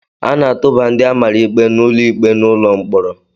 A na-atụba ndị a mara ikpe n'ụlọ ikpe n'ụlọ mkpọrọ